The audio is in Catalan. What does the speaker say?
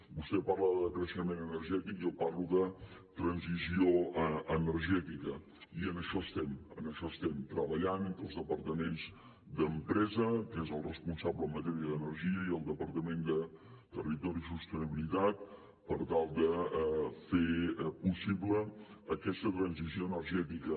vostè parla de decreixement energètic jo parlo de transició energètica i en això estem en això estem treballant entre el departament d’empresa que és el responsable en matèria d’energia i el departament de territori i sostenibilitat per tal de fer possible aquesta transició energètica